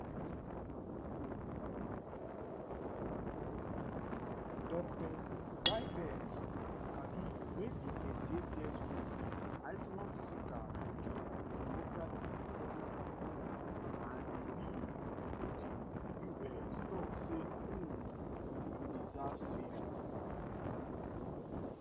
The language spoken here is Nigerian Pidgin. dr yves kaduli wey be 38yearold asylum seeker from di democratic republic of congo and dey live for di us tok say um we deserve safety